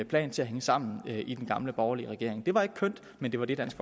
plan til at hænge sammen i den gamle borgerlige regering det var ikke kønt men det var det dansk